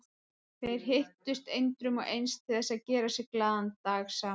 Þeir hittust endrum og eins til þess að gera sér glaðan dag saman.